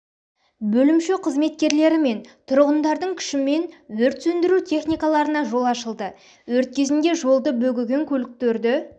бөлімше қызметкерлері мен тұрғындардың күшімен өрт сөндіру техникаларына жол ашылды өрт кезінде жолды бөгеген көліктерді